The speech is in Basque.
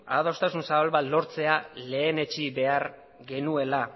adostasun zabal bat lortzea lehenetsi behar genuela